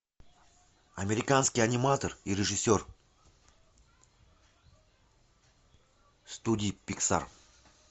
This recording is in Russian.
американский аниматор и режиссер студии пиксар